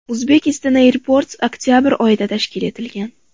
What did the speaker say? Uzbekistan Airports oktabr oyida tashkil etilgan.